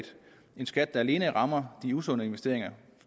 skat der alene rammer de usunde investeringer